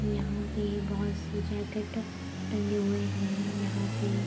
यहाँ पे बोहोत सी जैकिट टंगे हुए हैं। यहाँ पे --